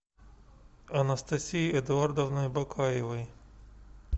анастасией эдуардовной бакаевой